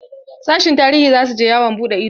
Sashin tarihi za su je yawon buɗe ido.